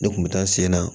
Ne kun bɛ taa n sen na